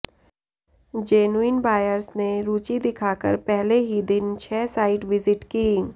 genuine buyers ने रुचि दिखाकर पहले ही दिन छह साइट विजिट की